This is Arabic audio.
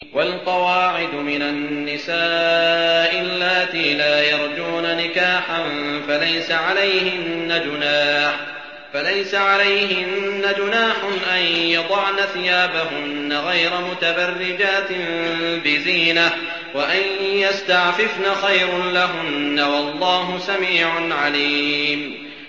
وَالْقَوَاعِدُ مِنَ النِّسَاءِ اللَّاتِي لَا يَرْجُونَ نِكَاحًا فَلَيْسَ عَلَيْهِنَّ جُنَاحٌ أَن يَضَعْنَ ثِيَابَهُنَّ غَيْرَ مُتَبَرِّجَاتٍ بِزِينَةٍ ۖ وَأَن يَسْتَعْفِفْنَ خَيْرٌ لَّهُنَّ ۗ وَاللَّهُ سَمِيعٌ عَلِيمٌ